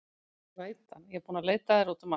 Glætan, ég er búin að leita að þér út um allt.